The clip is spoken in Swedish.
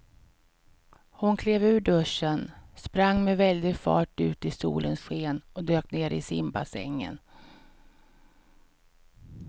Hon klev ur duschen, sprang med väldig fart ut i solens sken och dök ner i simbassängen.